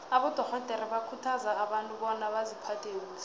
abadorhodere bakhuthaza abantu bona baziphathe kuhle